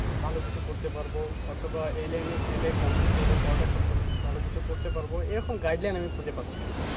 ভালো কিছু করতে পারব অথবা এই line গেলে complete করলে পড়ালেখা ভালো, ভালো কিছু করতে পারবো এরকম guideline আমি খুজে পাচ্ছি না।